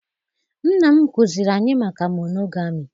Nna m kụziri anyị maka monogami